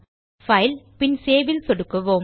Filegtபின் save ல் சொடுக்குவோம்